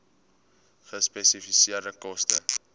gespesifiseerde koste